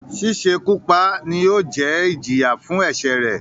“ sísekú pa" ni yóò jẹ́ ẹ́ ìjìyà fún ẹ̀sẹ̀rẹ̀.